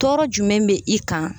Tɔɔrɔ jumɛn be i kan?